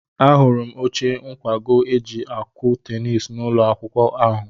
Ahụrụ m oche nkwago e ji akụ tenisi n'ụlọ akwụkwọ ahụ.